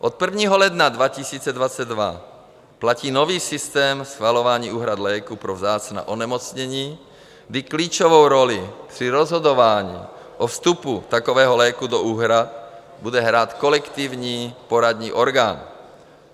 Od 1. ledna 2022 platí nový systém schvalování úhrad léků pro vzácná onemocnění, kdy klíčovou roli při rozhodování o vstupu takového léku do úhrad bude hrát kolektivní poradní orgán.